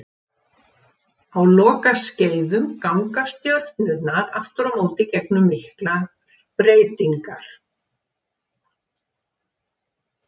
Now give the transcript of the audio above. Á lokaskeiðum ganga stjörnurnar aftur á móti gegnum miklar breytingar.